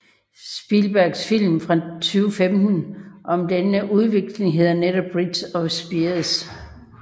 Spielbergs film fra 2015 om denne udveksling hedder netop Bridge of Spies